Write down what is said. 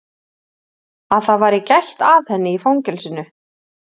Að það væri gætt að henni í fangelsinu?